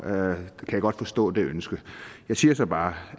kan jeg godt forstå det ønske jeg siger så bare